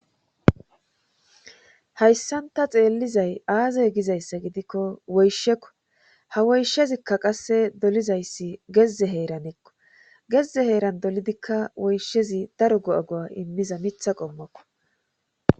Hayssanta xeellizay aazey gizayssa gidikko woyshekko ha woyshezikka qasse dolizayssi gezze heeranekko gezze heeran dolidikka woyshezi daro go'agoa immiza mitha qommokko.